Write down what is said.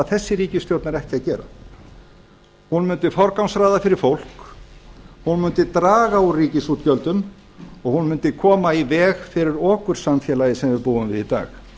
ríkisstjórn er ekki að gera hún mundi forgangsraða fyrir fólk hún mundi draga úr ríkisútgjöldum og hún mundi koma í veg fyrir okursamfélagið sem við búum við í dag